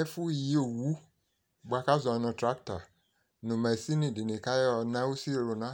ɛfu yi owu boa k'azɔ no trakta no mashin di ni k'ayɔ na usi luna